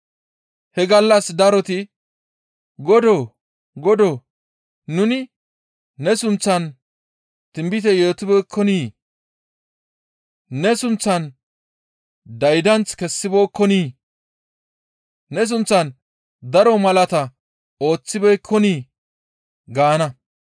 He gallas daroti, ‹Godoo! Godoo! Nuni ne sunththan tinbite yootibeekkonii? Ne sunththan daydanth kessibeekkonii? Ne sunththan daro malaata ooththibeekkonii?› gaana.